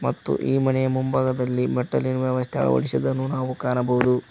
ಮತ್ತು ಈ ಮನೆಯ ಮುಂಭಾಗದಲ್ಲಿ ಮೆಟ್ಟಲಿನ ವ್ಯವಸ್ಥೆ ಅಳವಡಿಸಿದನ್ನು ನಾವು ಕಾಣಬಹುದು.